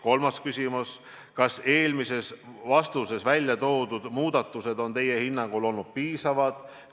" Kolmas küsimus: "Kas eelmises vastuses välja toodud muudatused on teie hinnangul olnud piisavad?